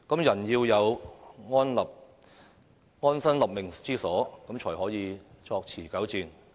人要有安身立命之所才可以作持久戰。